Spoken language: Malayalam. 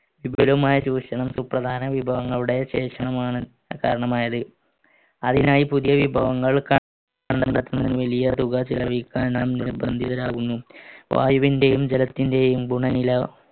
വിപുലമായ ചൂഷണം സുപ്രധാന വിഭവങ്ങളുടെ ശേഷമാണ് കാരണമായത് അതിനായി പുതിയ വിഭവങ്ങൾ വലിയ തുക ചെലവഴിക്കാൻ നാം നിർബന്ധിതരാകുന്നു വായുവിന്റെയും ജലത്തിന്റെയും ഗുണ നില